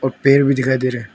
कुछ पेड़ भी दिखाई दे रहे हैं।